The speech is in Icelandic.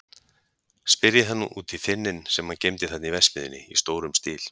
Spyrjið hann út í þynninn sem hann geymdi þarna í verksmiðjunni í stórum stíl.